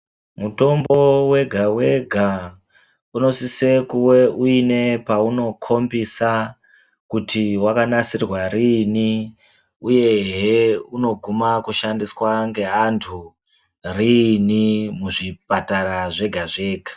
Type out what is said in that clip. Mutombo wega wega unosise kuwe uinepaunokhombisa kuti wakanasirwa rini uyehe unogumisire kushandiswa ngeanhu rini muzvipatara zvega zvega.